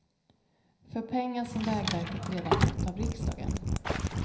För pengar som vägverket redan fått av riksdagen.